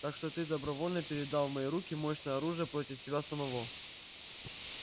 так что ты добровольно передал в мои руки мощное оружие против себя самого